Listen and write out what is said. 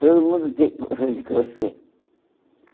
Todo mundo tem colcha de crochê.